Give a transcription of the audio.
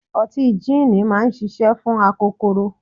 Ọtí jííni máa ń ṣiṣẹ́ fún akokoro.